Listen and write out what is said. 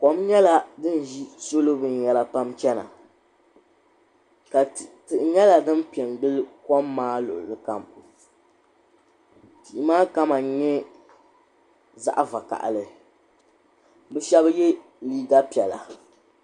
Kom nyɛla din ʒi salo binyahari n chana tihi nyela din pe n gili kom maa luɣuli kam tihi maa kama nye zaɣvokaɣili bɛ shɛbi ye liiga piɛla.